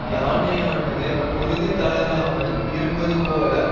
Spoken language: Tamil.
யானையானது உறுதி தளராமல் இருப்பது போல